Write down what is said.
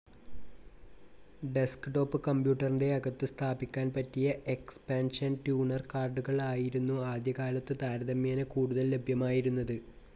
Desktop കമ്പ്യൂട്ടറിൻ്റെ അകത്തു സ്ഥാപിക്കാൻ പറ്റിയ എക്സ്പാൻഷൻ ട്യൂണർ കാർഡുകൾ ആയിരുന്നു ആദ്യകാലത്തു താരതമ്യേന കൂടുതൽ ലഭ്യമായിരുന്നത്.